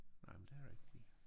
Nej men det rigtigt